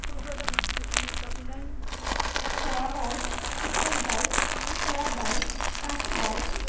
সোয়াবাই, উত্তল ভাই, স্কোয়া বাই, কাশি বাই